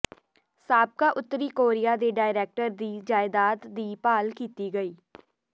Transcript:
ਸਾਬਕਾ ਉੱਤਰੀ ਕੋਰੀਆ ਦੇ ਡਿਫੈਕਟਰ ਦੀ ਜਾਇਦਾਦ ਦੀ ਭਾਲ ਕੀਤੀ ਗਈ